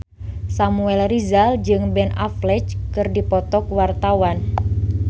Samuel Rizal jeung Ben Affleck keur dipoto ku wartawan